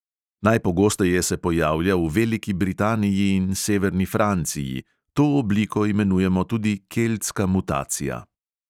Najpogosteje se pojavlja v veliki britaniji in severni franciji, to obliko imenujemo tudi keltska mutacija.